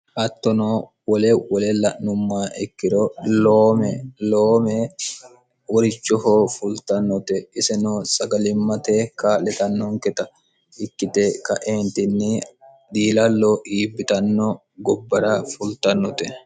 hattono wole wole la'numma ikkiro loome loome worichoho fultannote isino sagalimmate ka'letannonketa ikkite ka''eentinni dhiilallo iibbitanno gobbara fultannote